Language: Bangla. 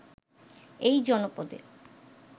এই জনপদে